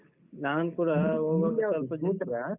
.